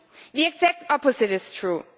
The exact opposite is true.